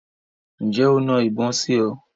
Ǹjẹ́ o na ìbọn sí ọ?